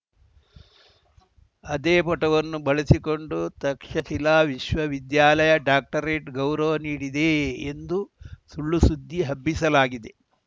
ಅದೇ ಫೋಟೋವನ್ನು ಬಳಸಿಕೊಂಡು ತಕ್ಷಶಿಲಾ ವಿಶ್ವವಿದ್ಯಾಲಯ ಡಾಕ್ಟರೇಟ್‌ ಗೌರವ ನೀಡಿದೆ ಎಂದು ಸುಳ್ಳುಸುದ್ದಿ ಹಬ್ಬಿಸಲಾಗಿದೆ